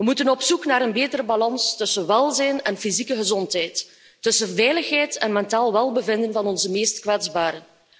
We moeten op zoek naar een betere balans tussen welzijn en fysieke gezondheid, tussen veiligheid en mentaal welbevinden van onze meest kwetsbaren.